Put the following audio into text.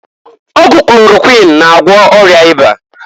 Ọgwụ klorokwuin na-agwọ ọya ịba.